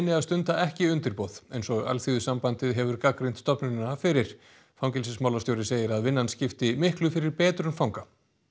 að stunda ekki undirboð eins og Alþýðusambandið hefur gagnrýnt stofnunina fyrir fangelsismálastjóri segir að vinnan skipti miklu fyrir betrun fanga